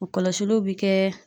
O kɔlɔsiliw bi kɛ